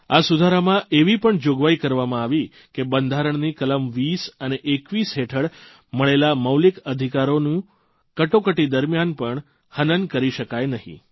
આ સુધારામાં એવી પણ જોગવાઇ કરવામાં આવી કે બંધારણની કલમ20 અને 21 હેઠળ મળેલા મૌલિક અધિકારોનું કટોકટી દરમ્યાન પણ હનનહત્યા કરી શકાઇ નહીં